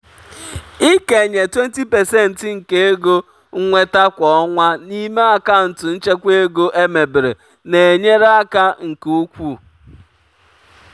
ịkenye 20% nke ego nnweta kwa ọnwa n'ime akaụntụ nchekwa ego emebere na-enyere aka nke ukwuu.